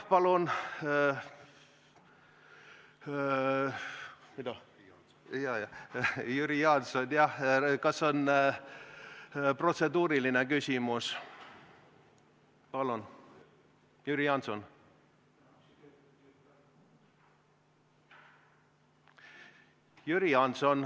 Jüri Jaanson, kas teil on protseduuriline küsimus?